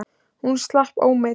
Hún slapp ómeidd.